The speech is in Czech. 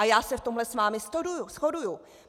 A já se v tomhle s vámi shoduji.